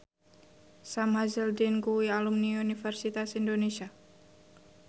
Sam Hazeldine kuwi alumni Universitas Indonesia